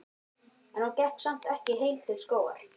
En hún gekk samt ekki heil til skógar.